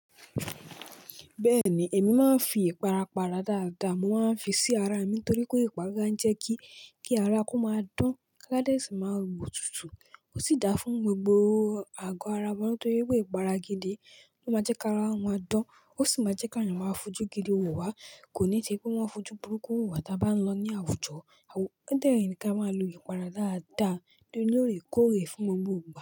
Bẹ́ẹ̀ni, èmi máa ń fi ìpara para dáadáa, mo máa ń fi sí ara mi torí pé ìpara jẹ́ kí, kí ara kó máa dán, ká dẹ́ẹ̀sì máa wò tútù. Ó sì dáa fún gbogbo àgọ́ ara wa nítorí pé ìpara gidi ló máa jẹ́ kí ara wa dán, ó sì máa jẹ́ kí àwon eyan máa fojú gidi wò wá. Kò ní tì í pé wọ́n ó fojú burúkú wò wá tí a bá ń lọ ní àwùjọ. Ó dẹ́rìn kí a máa lo ìpara dáadáa, ní òrékóòrè fún gbogbo igba.